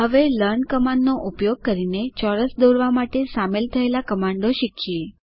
હવે લર્ન કમાન્ડનો ઉપયોગ કરીને ચોરસ દોરવા માટે સામેલ થયેલા કમાન્ડો શીખીએ